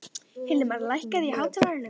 Hilmar, lækkaðu í hátalaranum.